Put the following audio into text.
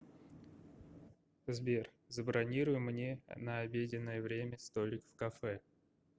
сбер забронируй мне на обеденное время столик в кафе